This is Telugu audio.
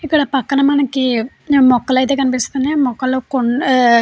ఇక్కడ పక్కన మనకి మొక్కలైతే కనిపిస్తున్నాయ్ మొక్కలు మొక్కలో కొన్ --